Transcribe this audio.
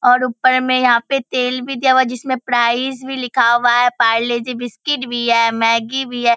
और उपर में यहाँ पे तेल भी दिया हुआ है जिस में प्राइस भी लिखा हुआ है पारले-जी बिस्कुट भी है मैगी भी है।